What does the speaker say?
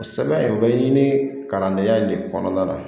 Sɛbɛn o bɛ ɲini kalandenya in de kɔnɔna na